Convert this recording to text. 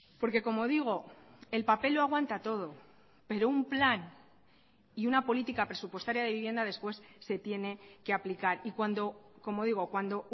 porque como digo el papel lo aguanta todo pero un plan y una política presupuestaria de vivienda después se tiene que aplicar y cuando como digo cuando